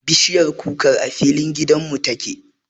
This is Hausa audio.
Bishiyar kukar a filin gidan mu ta ke